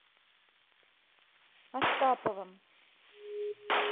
астаповым